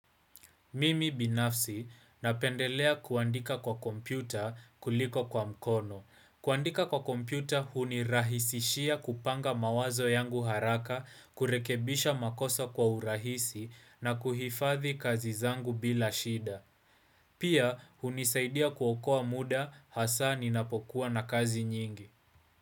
Mimi binafsi napendelea kuandika kwa kompyuta kuliko kwa mkono. Kuandika kwa kompyuta hunirahisishia kupanga mawazo yangu haraka, kurekebisha makosa kwa urahisi na kuhifadhi kazi zangu bila shida. Pia hunisaidia kuokoa muda hasa ninapokuwa na kazi nyingi.